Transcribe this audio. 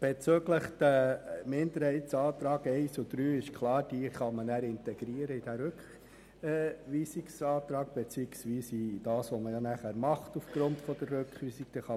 Bezüglich der Minderheitsanträge I und III ist klar, dass man sie dann in den Rückweisungsantrag integrieren kann, respektive in das, was man aufgrund der Rückweisung machen wird.